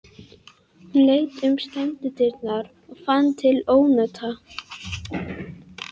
Hún leit út um skemmudyrnar og fann til ónota.